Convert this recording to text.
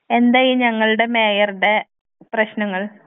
എന്തായി ഞങ്ങളുടെ മേയർടെ പ്രശ്നങ്ങൾ.